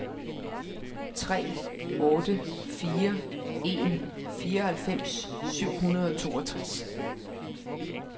tre otte fire en fireoghalvfems syv hundrede og toogtres